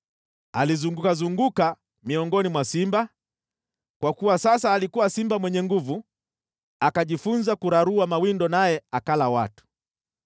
Alizungukazunguka miongoni mwa simba, kwa kuwa sasa alikuwa simba mwenye nguvu. Akajifunza kurarua mawindo naye akala watu.